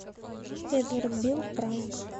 эдвард бил пранк